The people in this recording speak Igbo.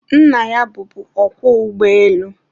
nna ya bụbu ọkwọ ụgbọelu